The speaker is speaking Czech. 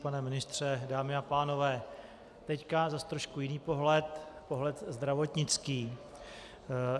Pane ministře, dámy a pánové, teď zase trošku jiný pohled, pohled zdravotnický.